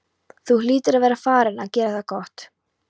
Þú hlýtur að vera farinn að gera það gott!